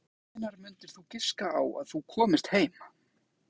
Hjördís: En hvenær mundir þú giska á að þú komist heim?